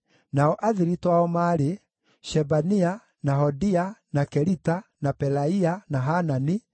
nao athiritũ ao maarĩ: Shebania, na Hodia, na Kelita, na Pelaia, na Hanani,